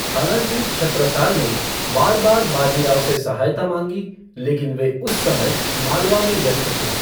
हालाँकि छत्रसाल ने बार बार बाजी राव की सहायता माँगी, लेकिन वे उस समय मालवा में व्यस्त थे।